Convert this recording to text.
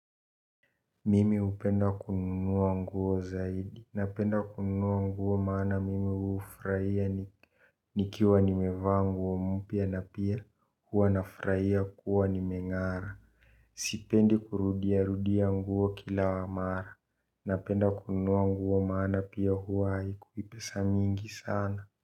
Mimi hupenda kununua nguo zaidi. Napenda kununua nguo maana mimi ufurahia nikiwa nimevaa nguo mpya na pia hua nafurahia kuwa nimeng'ara. Sipende kurudia rudia nguo kila mara. Napenda kununua nguo maana pia hua hikuwipesa mingi sana.